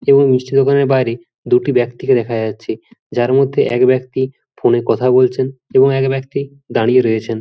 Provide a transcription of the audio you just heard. এবং মিষ্টির দোকানের বাইরে দুটি ব্যক্তিকে দেখা যাচ্ছে যার মধ্যে এক ব্যক্তি ফোন -এ কথা বলছেন এবং এক ব্যক্তি দাঁড়িয়ে রয়েছেন।